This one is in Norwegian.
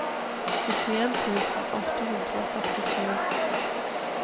syttien tusen åtte hundre og førtisju